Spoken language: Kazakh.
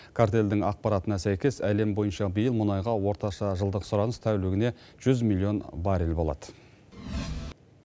картелдің ақпаратына сәйкес әлем бойынша биыл мұнайға орташа жылдық сұраныс тәулігіне жүз миллион баррель болады